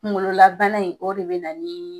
Gunkolola bana in , o de bɛ na ni